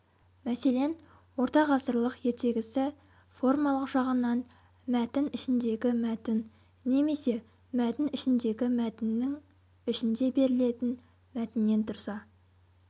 мәселен ортағасырлық ертегісі формалық жағынан мәтін ішіндегі мәтін немесе мәтін ішіндегі мәтіннің ішінде берілетін мәтіннен тұрса